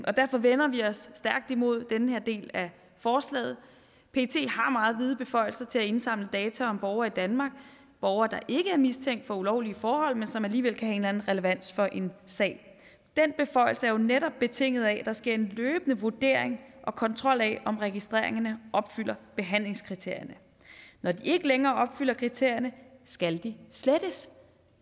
og derfor vender vi os stærkt imod den her del af forslaget pet har meget vide beføjelser til at indsamle data om borgere i danmark borgere der ikke er mistænkt for ulovlige forhold men som alligevel kan en anden relevans for en sag den beføjelse er jo netop betinget af at der sker en løbende vurdering af og kontrol med om registreringerne opfylder behandlingskriterierne når de ikke længere opfylder kriterierne skal de slettes